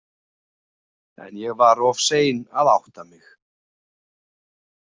En ég var of sein að átta mig.